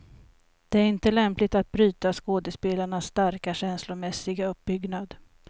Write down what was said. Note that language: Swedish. Det är inte lämpligt att bryta skådespelarnas starka, känslomässiga uppbyggnad.